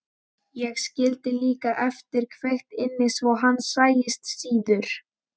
Ég skildi líka eftir kveikt inni svo hann sæist síður.